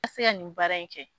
Ka seya nin baara in kɛ.